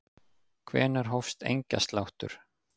Hvenær hófst engjasláttur?